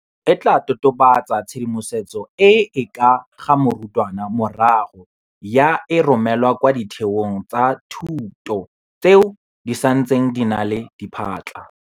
E tla totobatsa tshedimosetso e e ka ga morutwana morago ya e romela kwa ditheong tsa thuto tseo di santseng di na le diphatlha.